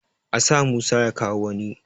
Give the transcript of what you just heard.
A sa Musa ya kawo wani!